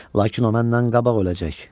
Lakin o məndən qabaq öləcək!